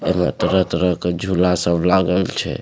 ए में तरह-तरह के झूला सब लागल छै।